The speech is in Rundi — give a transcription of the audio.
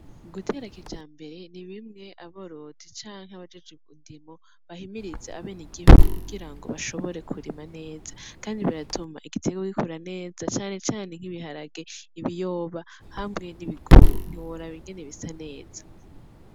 Gutera kijambere ni bimwe aborozi canke abajejwe indimo bahimiriza abenegihugu kugira ngo bashobore kurima neza. Kandi biratuma igiterwa gikura neza cane cane nk'ibiharage, ibiyoba hamwe n'ibigori. Ntiworaba ingene bisa neza.